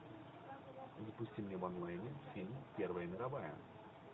запусти мне в онлайне фильм первая мировая